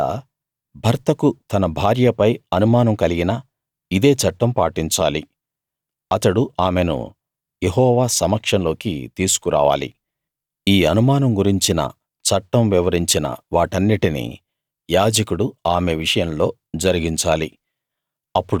ఒకవేళ భర్తకు తన భార్యపై అనుమానం కలిగినా ఇదే చట్టం పాటించాలి అతడు ఆమెను యెహోవా సమక్షంలోకి తీసుకు రావాలి ఈ అనుమానం గురించిన చట్టం వివరించిన వాటన్నిటినీ యాజకుడు ఆమె విషయంలో జరిగించాలి